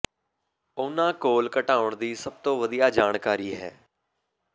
ਉਨ੍ਹਾਂ ਕੋਲ ਘਟਾਉਣ ਦੀ ਸਭ ਤੋਂ ਵਧੀਆ ਜਾਣਕਾਰੀ ਹੈ